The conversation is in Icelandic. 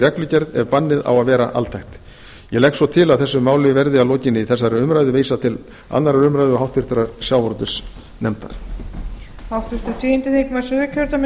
reglugerð ef bannið á að vera altækt ég legg svo til að þessu máli verði að lokinni þessari umræðu vísað til annarrar umræðu og háttvirtur sjávarútvegsnefndar